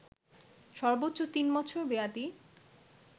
সর্বোচ্চ তিন বছর মেয়াদি